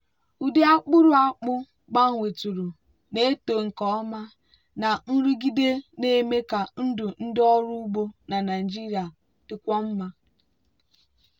ụdị akpụrụ akpụ gbanwetụrụ na-eto nke ọma na nrụgide na-eme ka ndụ ndị ọrụ ugbo na nigeria dịkwuo mma.